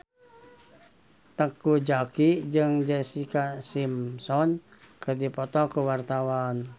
Teuku Zacky jeung Jessica Simpson keur dipoto ku wartawan